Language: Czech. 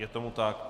Je tomu tak.